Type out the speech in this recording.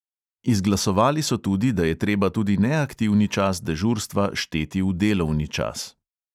Izglasovali so tudi, da je treba tudi neaktivni čas dežurstva šteti v delovni čas.